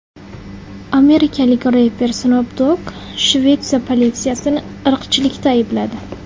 Amerikalik reper Snoop Dogg Shvetsiya politsiyasini irqchilikda aybladi.